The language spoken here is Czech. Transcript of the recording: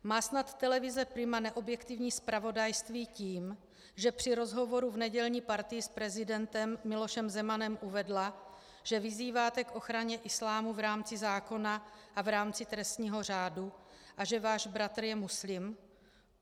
Má snad televize Prima neobjektivní zpravodajství tím, že při rozhovoru v nedělní Partii s prezidentem Milošem Zemanem uvedla, že vyzýváte k ochraně islámu v rámci zákona a v rámci trestního řádu a že váš bratr je muslim?